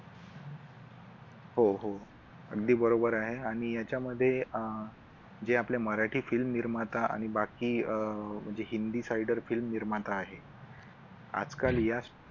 हो हो अगदी बरोबर आहे आणि याच्यामध्ये अह जे आपले मराठी film निर्माता आणि बाकी अह म्हणजे हिंदी sider film निर्माता आहेत आज काल या